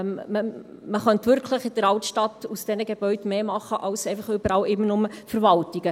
Man könnte in der Altstadt aus diesen Gebäuden wirklich mehr machen als einfach immer überall nur Verwaltungen.